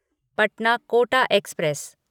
Patna Kota express